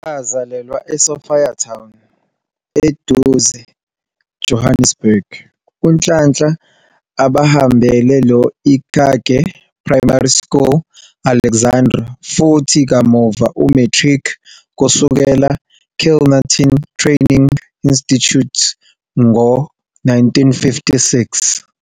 Wazalelwa eSophiatown, eduze Johannesburg, uNhlanhla abahambele lo Ikage Primary School Alexandra futhi kamuva umatric kusukela Kilnerton Training Institute ngo-1956.